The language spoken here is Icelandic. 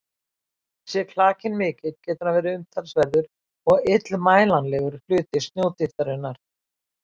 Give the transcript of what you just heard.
Sé klakinn mikill getur hann verið umtalsverður og illmælanlegur hluti snjódýptarinnar.